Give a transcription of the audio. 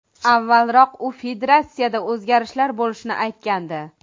Avvalroq u federatsiyada o‘zgarishlar bo‘lishini aytgandi.